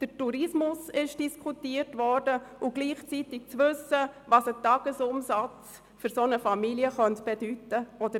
Der Tourismus ist diskutiert worden, ebenso, was ein Tagesumsatz für solch einen Familienbetrieb bedeuten könnte.